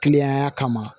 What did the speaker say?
Kiliyanya kama